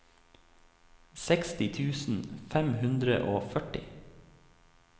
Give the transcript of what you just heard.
seksti tusen fem hundre og førti